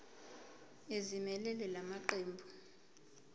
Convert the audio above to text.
ezimelele la maqembu